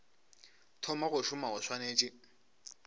thoma go šoma o swanetše